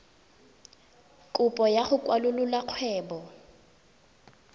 kopo ya go kwalolola kgwebo